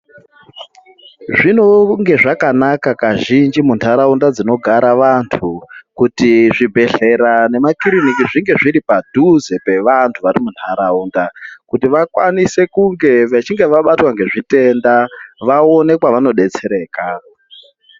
Zvinonge zvakanaka kazhinji muntaraunda dzinogara vantu ,kuti zvibhedhlera nemakiriniki zvinge zviri padhuze pevantu vari munharaunda kuti vakwanise kunge vechinge vabatwa ngezvitenda ,vaone kwevanodetsereka.